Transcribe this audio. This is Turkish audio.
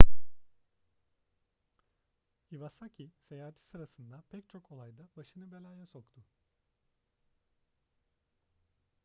iwasaki seyahati sırasında pek çok olayda başını belaya soktu